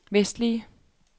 vestlige